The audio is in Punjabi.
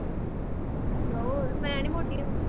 ਹੋਰ ਮੈਂ ਨੀ ਮੋਟੀ ਹੁੰਦੀ